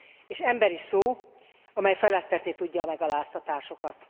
És emberi szó, amely feledtetni tudja a megaláztatásokat.